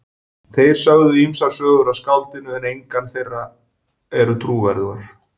Þeir sögðu ýmsar sögur af skáldinu en engar þeirra eru trúverðugar.